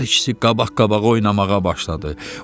Hər ikisi qabaq-qabağa oynamağa başladı.